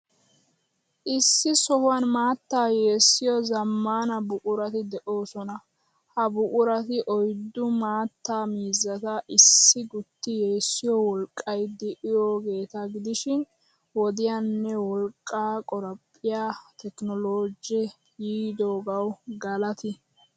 Issi sohuwan maattaa yeessiyoo zammana buqurati de'oosona. Ha buqurati oyddu maattaa miizzata issi gutti yessiyo wolqqay de'iyoogeeta gidishin, wodiyaanne wolqqaa qorappiyaa tekinoloojee yiidoogawu galati!!